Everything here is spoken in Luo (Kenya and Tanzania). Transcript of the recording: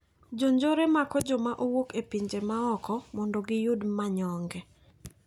Jonjore mako joma owuok e pinje maoko mondo giyud manyonge.